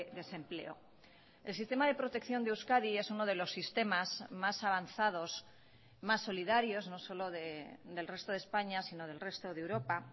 desempleo el sistema de protección de euskadi es uno de los sistemas más avanzados más solidarios no solo del resto de españa sino del resto de europa